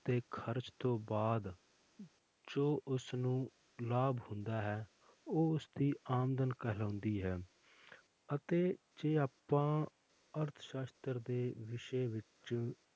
ਤੇ ਖ਼ਰਚ ਤੋਂ ਬਾਅਦ ਜੋ ਉਸਨੂੰ ਲਾਭ ਹੁੰਦਾ ਹੈ ਉਹ ਉਸਦੀ ਆਮਦਨ ਕਹਿਲਾਉਂਦੀ ਹੈ ਅਤੇ ਜੇ ਆਪਾਂ ਅਰਥਸਾਸ਼ਤਰ ਦੇ ਵਿਸ਼ੇ ਵਿੱਚ